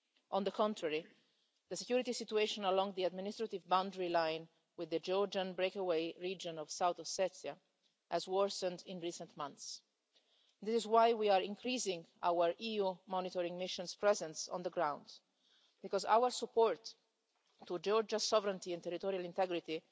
On the contrary, the security situation along the administrative boundary line with the Georgian breakaway region of South Ossetia has worsened in recent months. That is why we are increasing our EU monitoring mission's presence on the ground, because our support to Georgia's sovereignty and territorial integrity